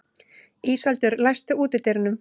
Íseldur, læstu útidyrunum.